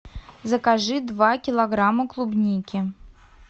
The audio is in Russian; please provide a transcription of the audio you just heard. закажи два килограмма клубники